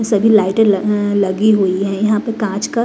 सभी लाइटें लगी हुई है यहां पे कांच का--